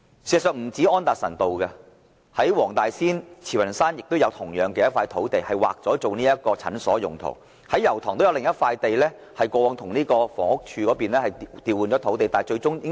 事實上，不單是安達臣道，在黃大仙和慈雲山同樣也有土地已劃作診所用途，而油塘也有另一幅土地，是過往與房屋署對調的土地。